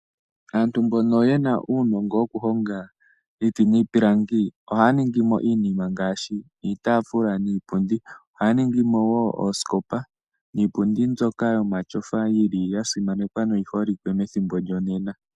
Aantu mbono yena uunongo woku honga iiti niipilangi, ohaya ningi mo iinima ngaashi iitaafula niipundi. Ohaya ningi mo woo oosikopa niipundi mbyoka yomatyofa yili yasimanekwa noyi holike methimbo lyonena.